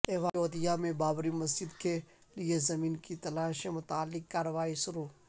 ایودھیا میں بابری مسجد کے لئے زمین کی تلاش سے متعلق کارروائی شروع